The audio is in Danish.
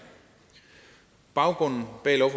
baggrunden